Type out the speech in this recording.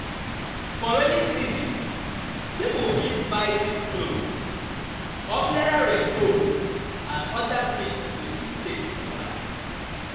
For rainy season pipo fit buy thick cloth, umbrella rain coat and oda things to fit take survive